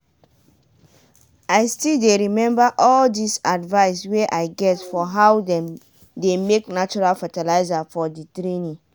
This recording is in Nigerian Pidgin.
i still dey remember all di advise wey i get for how dem dey make natural fertilizer for di training.